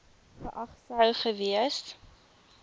geag sou gewees